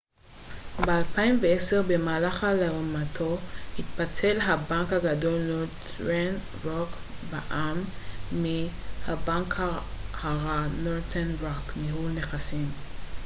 "ב-2010 במהלך הלאמתו התפצל הבנק הגדול נורת'רן רוק בע""מ מ""הבנק הרע" נורת'רן רוק ניהול נכסים.